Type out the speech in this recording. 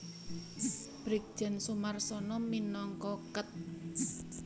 Brigjen Soemarsono minangka Ket